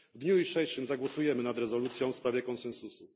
W dniu jutrzejszym zagłosujemy nad rezolucją w sprawie konsensusu.